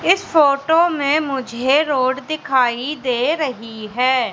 इस फोटो में मुझे रोड दिखाई दे रही है।